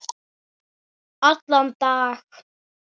Allan dag?